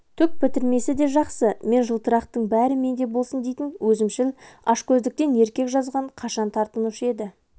түк бітірмесе де жақсы мен жылтырақтың бәрі менде болсын дейтін өзімшіл ашкөздіктен еркек жазған қашан тартынушы еді